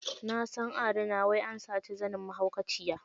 Nasan a rina wai ansaci zanin mahaukaciya.